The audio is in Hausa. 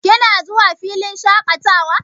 Kina zuwa filin shaƙatawa?